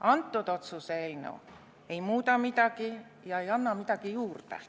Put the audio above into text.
Siinse otsuse eelnõu ei muuda aga midagi ja ei anna ka midagi juurde.